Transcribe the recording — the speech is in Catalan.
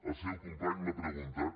el seu company m’ha preguntat